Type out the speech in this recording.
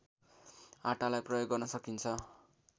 आटालाई प्रयोग गर्न सकिन्छ